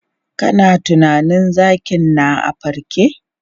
Kana tunanin zakin na a farke?